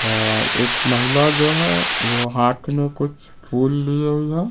और एक महिला जो है वो हाथ में कुछफूल लिए हुए।